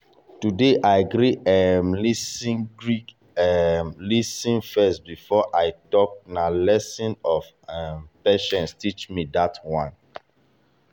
today i gree um lis ten gree um lis ten first before i talk na lesson of um patience teach me that one.